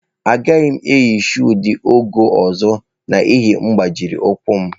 Agaghị m eyi shụụ dị ọgọ́ ọzọ n'ihi agbajiri ụkwụ m.